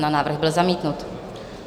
Návrh byl zamítnut.